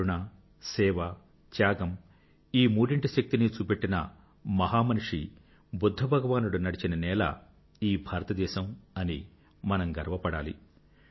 కరుణ సేవత్యాగం ఈ మూడింటి శక్తినీ చూపెట్టిన మహామనీషి బుధ్ధభగవానుడు నడిచిన నేల ఈ భారతదేశం అని మనం గర్వపడాలి